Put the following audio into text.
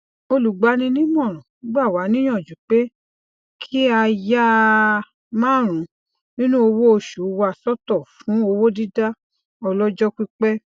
olùgbaninímọràn gba wa niyanju pe ki a ya ia marunun ninu owo oṣu wa sọtọ fun owodida ọlọjọ pipẹ